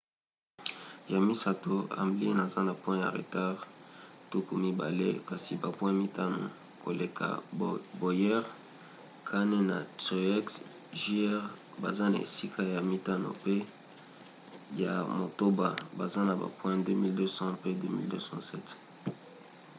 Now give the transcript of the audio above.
ya misato hamlin aza na point ya retard tuku mibale kasi bapoint mitano koleka bowyer. kahne na truex jr. baza na esika ya mitano pe ya motoba baza na ba point 2 220 pe 2 207